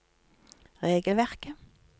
regelverket